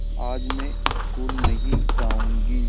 आज मैं स्कूल नहीं जाऊँगी